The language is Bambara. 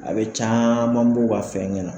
A be caaman bɔ u ga fɛgɛ na